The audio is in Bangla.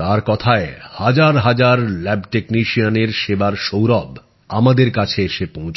তাঁর কথায় হাজার হাজার ল্যাব টেকনিশিয়ানের সেবার সৌরভ আমাদের কাছে এসে পৌঁছল